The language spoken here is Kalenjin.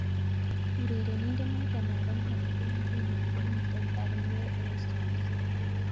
Urerindet noto ab England konguno komite Burnley eng' somset.